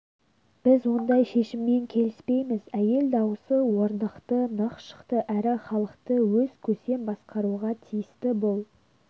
біз ондай шешіммен келіспейміз әйел дауысы орнықты нық шықты әрі халықты өз көсем басқаруға тиісті бұл